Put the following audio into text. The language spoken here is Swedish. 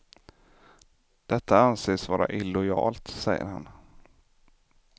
Detta anses vara illojalt, säger han.